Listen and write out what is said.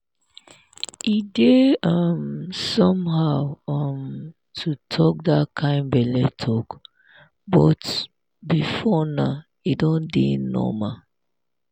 e dey um somehow um to talk that kind belle talk before but now e don dey normal.